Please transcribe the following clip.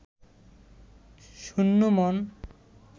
শূন্য মন